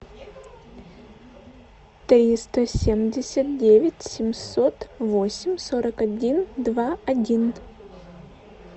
триста семьдесят девять семьсот восемь сорок один два один